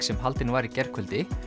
sem haldin var í gærkvöldi